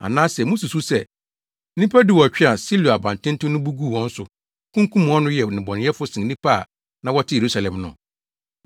Anaasɛ mususuw sɛ nnipa dunwɔtwe a Siloa abantenten no bu guu wɔn so, kunkum wɔn no yɛ nnebɔneyɛfo sen nnipa a na wɔte Yerusalem no?